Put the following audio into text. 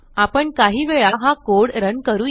आपण काही वेळा हा कोड रन करूया